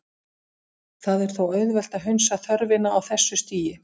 Það er þó auðvelt að hunsa þörfina á þessu stigi.